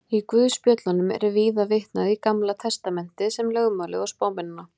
Í guðspjöllunum er víða vitnað í Gamla testamentið sem lögmálið og spámennina.